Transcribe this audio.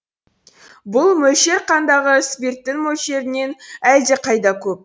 бұл мөлшер қандағы спирттің мөлшерінен әлде қайда көп